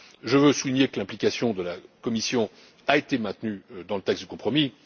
Je tiens à souligner que l'implication de la Commission a été maintenue dans le texte de compromis.